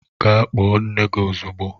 Gaa kpọọ nne gị ozugbo!